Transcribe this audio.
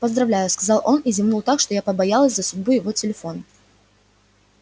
поздравляю сказал он и зевнул так что я побоялась за судьбу его телефона